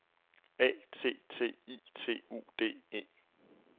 A T T I T U D E